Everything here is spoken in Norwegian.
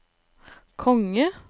konge